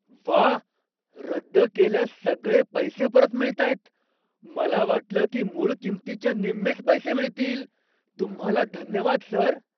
व्वा! रद्द केल्यास सगळे पैसे परत मिळतायत? मला वाटलं की मूळ किंमतीच्या निम्मेच पैसे मिळतील. तुम्हाला धन्यवाद, सर.